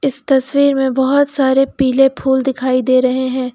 इस तस्वीर में बहोत सारे पीले फूल दिखाई दे रहे हैं।